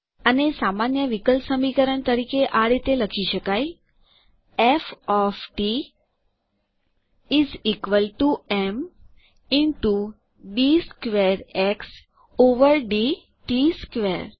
આને સામાન્ય વિકલ સમીકરણ તરીકે આ રીતે લખી શકાય F of T is equal to M into D squared X over D T squared